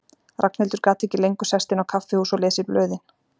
Ragnhildur gat ekki lengur sest inn á kaffihús og lesið blöðin.